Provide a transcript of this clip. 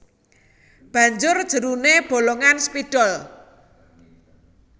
Banjur jeruné bolongan spidol